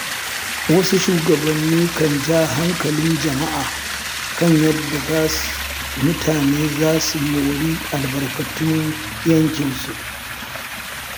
Wasu shugabanni kan ja hankalin jama'a kan yadda mutane za su mori albarkatun yankinsu.